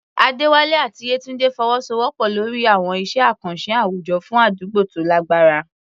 Adewale àti Yetunde fọwọ́sowọ́pọ̀ lórí àwọn iṣẹ́ àkànṣe àwùjọ fún àdúgbò tó lágbára.